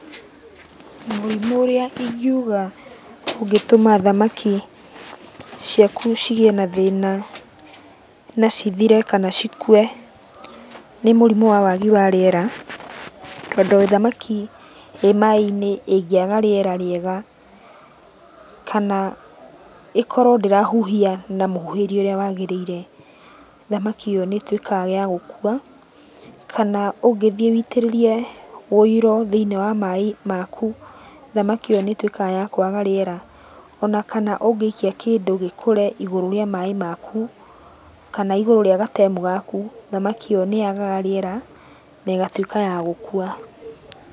Mũrimu ũrĩa ingiuga ũngĩtũma thamaki ciaku cigĩe na thĩna na cithire kana cikue nĩ mũrimũ wa wagi wa rĩera. Tondũ thamaki ĩ maĩ-inĩ ĩngĩaga rĩera rĩega, kana ĩkorwo ndĩrahuhia na mũhuhĩrie ũrĩa wagĩrĩire, thamaki ĩyo nĩĩtuĩkaga ya gũkua kana ũngĩthiĩ wĩitĩrĩrĩe wĩiro thĩiniĩ wa maĩ maku, thamaki ĩyo nĩĩtuĩkaga ya kwaga rĩera. Ona kana ũngĩikia kĩndũ gĩkũre igũrũ rĩa maĩ maku, kana igũrũ rĩa gatemu gaku, thamaki ĩyo nĩyagaga rĩera na ĩgatuĩka ya gũkua.